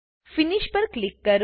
Finishપર click કરો